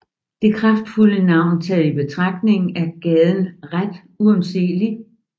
Det kraftfulde navn taget i betragtning er gaden ret undseelig